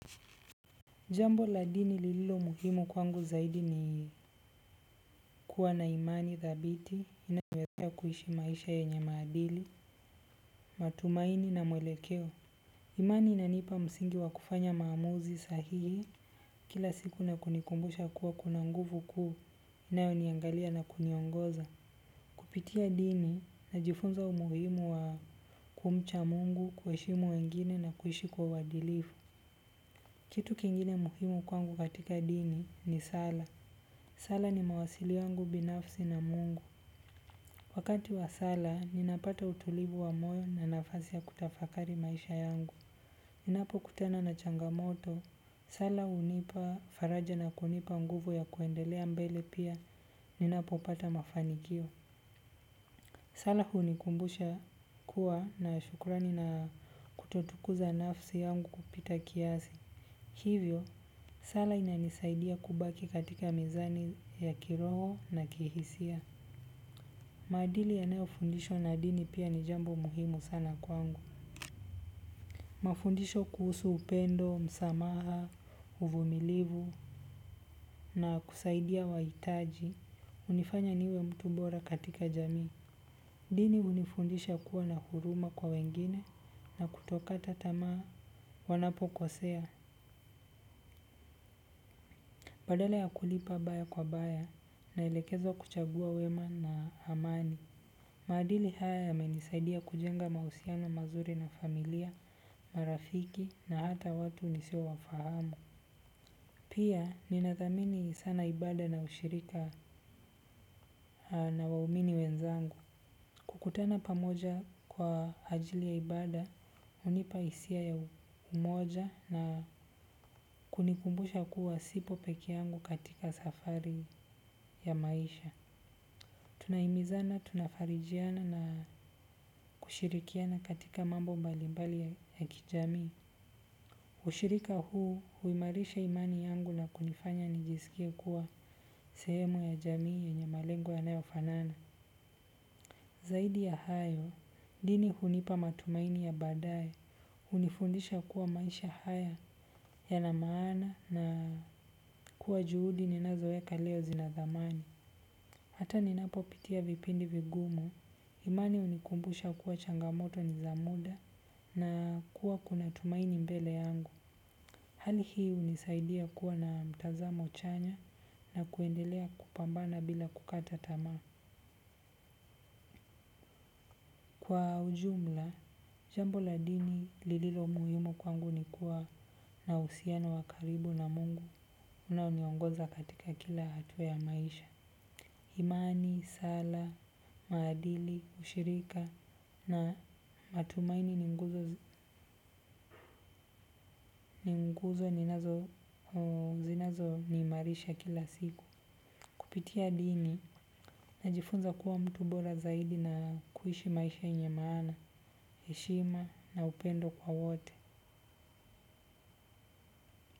Jambo la dini lililomuhimu kwangu zaidi ni kuwa na imani dhabiti unaweza kuishi maisha yenye maadili matumaini na mwelekeo. Imani ina nipa msingi wa kufanya maamuzi sahihi, kila siku na kunikumbusha kuwa kuna nguvu kuu, inayoniangalia na kuniongoza. Kupitia dini na jifunza umuhimu wa kumcha Mungu kuheshimu wengine na kuishi kwa uadilifu. Kitu kingine muhimu kwangu katika dini ni sala. Sala ni mawasili yangu binafsi na mungu. Wakati wa sala, ninapata utulivu wa moyo na nafasi ya kutafakari maisha yangu. Ninapo kutana na changamoto, sala hunipa faraja na kunipa nguvu ya kuendelea mbele pia, ninapo pata mafanikio. Sala hunikumbusha kuwa na shukrani na kutotukuza nafsi yangu kupita kiasi. Hivyo, sala inanisaidia kubaki katika mizani ya kiroho na kihisia. Maadili yanayofundisha na dini pia ni jambo muhimu sana kwangu. Mafundisho kuhusu upendo, msamaha, uvumilivu, na kusaidia wahitaji. Hunifanya niwe mtu bora katika jamii. Dini hunifundisha kuwa na huruma kwa wengine na kutokata tamaa wanapo kosea. Badala ya kulipa baya kwa baya na elekezwa kuchagua wema na amani. Maadili haya yamenisaidia kujenga mahusiano mazuri na familia, marafiki na hata watu nisio wafahamu. Pia, ninathamini sana ibada na ushirika na waumini wenzangu. Kukutana pamoja kwa ajili ya ibada, hunipa hisia ya umoja na kunikumbusha kuwa sipo pekee yangu katika safari ya maisha. Tuna himizana, tuna farijiana na kushirikiana katika mambo mbalimbali ya kijamii ushirika huu huimarisha imani yangu na kunifanya nijisikie kuwa sehemu ya jamii yenye malengo ya nayofanana. Zaidi ya hayo, dini hunipa matumaini ya baadaye. Hunifundisha kuwa maisha haya yana maana na kuwa juhudi ninazoweka leo zinathamani. Hata ninapo pitia vipindi vigumu, imani hunikumbusha kuwa changamoto ni za muda na kuwa kuna tumaini mbele yangu. Hali hii hunisaidia kuwa na mtazamo chanya na kuendelea kupambana bila kukata tama. Kwa ujumla, jambo la dini lililo muhiumu kwangu ni kuwa na uhusiano wa karibu na Mungu unaoniongoza katika kila hatua ya maisha. Imani, sala, maadili, ushirika na matumaini ni nguzo zinazo ni imarisha kila siku. Kupitia dini, najifunza kuwa mtu bora zaidi na kuishi maisha yenye maana, heshima na upendo kwa wote.